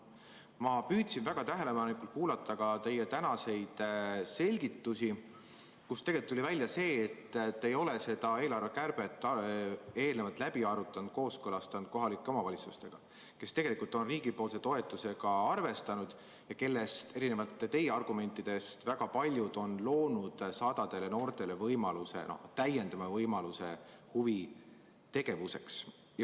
Ma püüdsin väga tähelepanelikult kuulata teie tänaseid selgitusi, millest tuli välja see, et te ei ole seda eelarvekärbet eelnevalt läbi arutanud, kooskõlastanud kohalike omavalitsustega, kes tegelikult on riigi toetusega arvestanud ja kellest, erinevalt teie argumentidest, väga paljud on loonud sadadele noortele täiendava võimaluse huvitegevuseks.